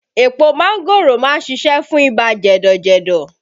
Epo mángòrò má ń ṣiṣẹ́ fún ibà jẹ̀dọ̀ jẹ̀dọ̀